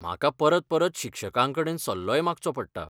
म्हाका परत परत शिक्षकांकडेन सल्लोय मागचो पडटा.